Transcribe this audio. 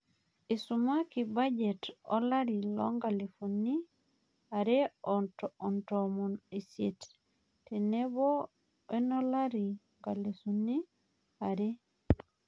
Isumaki bajet olari lonkalifuni are o toon osiet tenebo wenolari lonkalifuni are